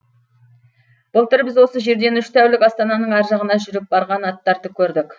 былтыр біз осы жерден үш тәулік астананың ар жағына жүріп барған аттарды көрдік